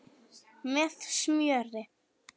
Með smjöri.